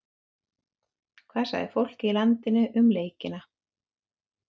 Hvað sagði fólkið í landinu um leikina?